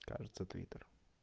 кажется твиттер